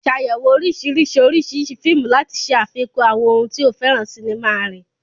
Ṣàyẹ̀wò oríṣiríṣi oríṣiríṣi fíìmù láti ṣe àfikún àwọn ohun tí o fẹ́ràn sinimá rẹ.